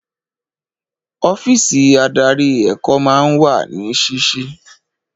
Ọ́físì adarí èkó máa ń wà ní sísí.